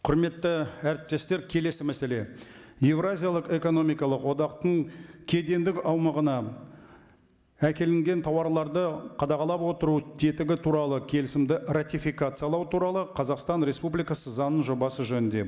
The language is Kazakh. құрметті әріптестер келесі мәселе еуразиялық экономикалық одақтың кедендік аумағына әкелінген тауарларды қадағалап отыру тетігі туралы келісімді ратификациялау туралы қазақстан республикасы заңының жобасы жөнінде